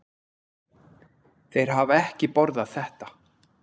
Þeir hafa ekki borðað þetta.